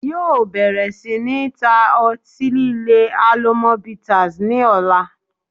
Yóò bẹ̀rẹ̀ sí ní ta ọtí líle 'Alomọ bitters' ni ọ̀la